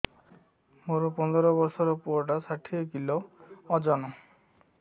ମୋର ପନ୍ଦର ଵର୍ଷର ପୁଅ ଟା ଷାଠିଏ କିଲୋ ଅଜନ